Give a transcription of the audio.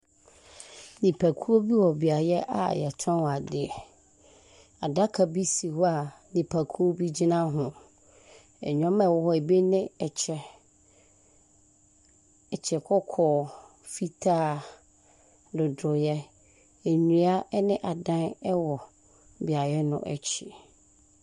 Nnipakuo bi wɔ beae a yɛtɔn adeɛ. Adaka bi si hɔ a nnipakuo bi gyina ho. Nnoɔma ɛwɔ hɔ no, ebi ne ɛhyɛ kɔkɔɔ, fitaa, dodoeɛ. Nnua ɛne adan ɛwɔ beaeɛ no akyi.